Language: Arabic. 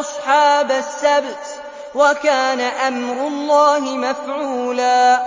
أَصْحَابَ السَّبْتِ ۚ وَكَانَ أَمْرُ اللَّهِ مَفْعُولًا